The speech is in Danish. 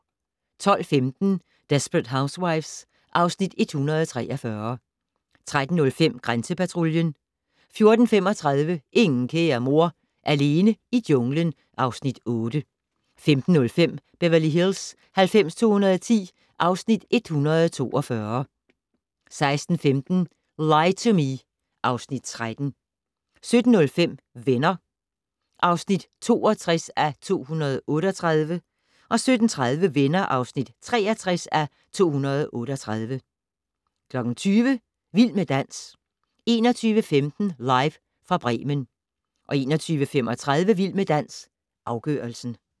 12:15: Desperate Housewives (Afs. 143) 13:05: Grænsepatruljen 14:35: Ingen kære mor - alene i junglen (Afs. 8) 15:05: Beverly Hills 90210 (Afs. 142) 16:15: Lie to Me (Afs. 13) 17:05: Venner (62:238) 17:30: Venner (63:238) 20:00: Vild med dans 21:15: Live fra Bremen 21:35: Vild med dans - afgørelsen